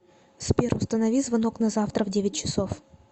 сбер установи звонок на завтра в девять часов